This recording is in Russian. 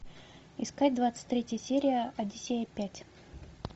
искать двадцать третья серия одиссея пять